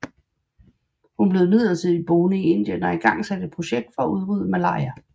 Hun blev imidlertid boende i Indien og igangsatte et projekt for at udrydde malaria